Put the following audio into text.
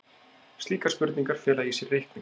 Slíkar spurningar fela í sér reikning.